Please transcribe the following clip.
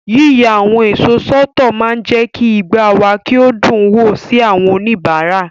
Yíya àwọn èso sọ́tọ̀ máa ń jẹ́ kí igbá wa kí o dùn wò sí àwọn oníbàárà.